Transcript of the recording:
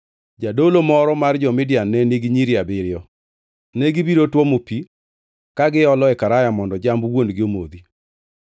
Jadolo moro mar jo-Midian ne nigi nyiri abiriyo, negibiro tuomo pi ka giolo e karaya mondo jamb wuon-gi omodhi.